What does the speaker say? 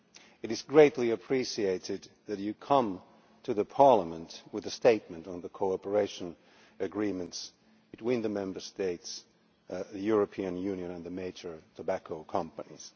It is greatly appreciated that she has come to Parliament with a statement on the cooperation agreements between the Member States, the European Union and the major tobacco companies.